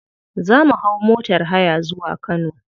Za mu hau motar haya zuwa kano.